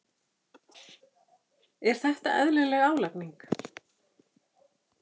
Er þetta eðlileg álagning?